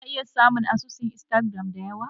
Kuna iya samun asusun Instagram da yawa.